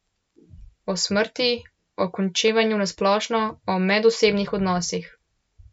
O smrti, o končevanju na splošno, o medosebnih odnosih.